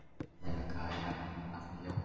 Hann hefur gefið jakanum nafnið Jóli